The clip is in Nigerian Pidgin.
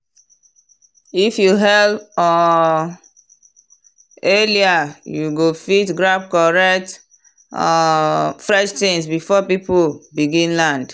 if you hail um early you go fit grab correct um fresh things before people begin land.